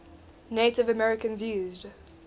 native americans used